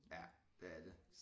Ja det er det